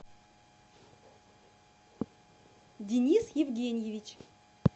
денис евгеньевич